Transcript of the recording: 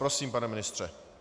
Prosím, pane ministře.